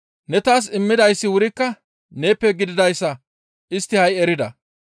Ne taas immidayssi wurikka neeppe gididayssa istti ha7i erida.